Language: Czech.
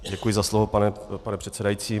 Děkuji za slovo, pane předsedající.